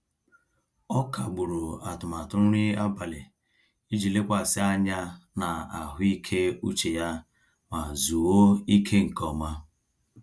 Ọ kagburu atụmatụ nri abalị iji lekwasị anya na ahụike uche ya ma zuoo ike nke ọma.